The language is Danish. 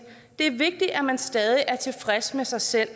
det er vigtigt at man stadig er tilfreds med sig selv